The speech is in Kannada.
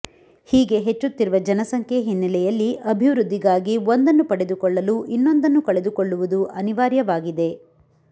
ಹೀಗೆ ಹೆಚ್ಚುತ್ತಿರುವ ಜನಸಂಖ್ಯೆ ಹಿನ್ನೆಲೆಯಲ್ಲಿ ಅಭಿವೃದ್ಧಿಗಾಗಿ ಒಂದನ್ನು ಪಡೆದುಕೊಳ್ಳಲು ಇನ್ನೊಂದನ್ನು ಕಳೆದುಕೊಳ್ಳುವುದು ಅನಿವಾರ್ಯ ವಾಗಿದೆ